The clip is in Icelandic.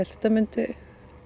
þetta myndi